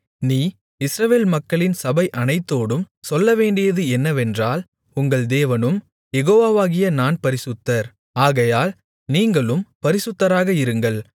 நீ இஸ்ரவேல் மக்களின் சபை அனைத்தோடும் சொல்லவேண்டியது என்னவென்றால் உங்கள் தேவனும் யெகோவாவாகிய நான் பரிசுத்தர் ஆகையால் நீங்களும் பரிசுத்தராக இருங்கள்